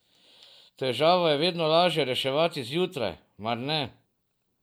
Težave je vedno laže reševati zjutraj, mar ne?